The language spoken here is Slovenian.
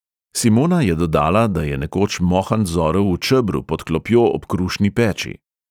Simona je dodala, da je nekoč mohant zorel v čebru pod klopjo ob krušni peči.